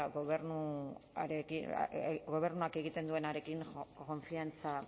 gobernuak egiten duenarekin konfiantza